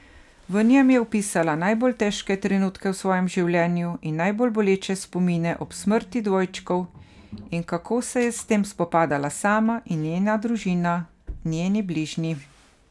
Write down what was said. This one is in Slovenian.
V njem je opisala najbolj težke trenutke v svojem življenju in najbolj boleče spomine ob smrti dvojčkov in kako se je s tem spopadala sama in njena družina, njeni bližnji.